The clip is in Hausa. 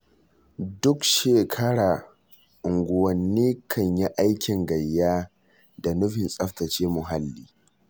Duk shekara unguwanni kan yi aikin gayya da nufin tsafta ce muhalli.